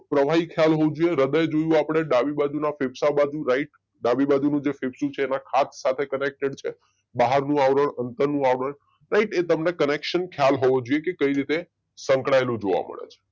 પ્રવાહી ખયાલ હોવું જોઈએ હૃદય જોયું આપણે ડાબી બાજુના ફેફસા બાજુ રાઈટ ડાબી બાજુનું જે ફેફસું છે એના ખાંચ સાથે કનેક્ટડ છે બહાર નું આવરણ અંદરનું આવરણ રાઈટ એ તમને કનેક્શન ખયાલ હોવું જોઈએ કે કઈ રીતે સંકળાયેલું જોવા મળે છે